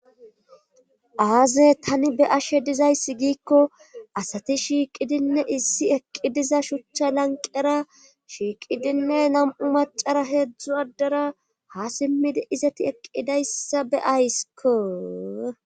Aaze tani be ashe dizayssi giikko asati shiiqidinne issi eqqi diza shuchcha lanqera shiiqidinne nam'u macara heedzdzu addara ha simmidi izati eqqidayssa be aysko